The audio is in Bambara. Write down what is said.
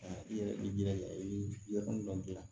i yɛrɛ i jilaja i bi yɔrɔ min gilan